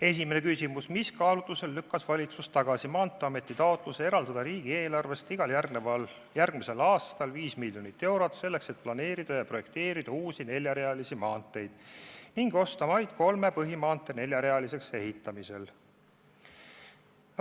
Esimene küsimus: "Mis kaalutlustel lükkas valitsus tagasi Maanteeameti taotluse eraldada riigieelarvest igal järgmisel aastal 5 miljonit eurot, selleks et planeerida ja projekteerida uusi neljarealisi maanteid ning osta maid kolme põhimaantee neljarealiseks ehitamisel?